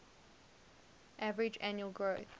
average annual growth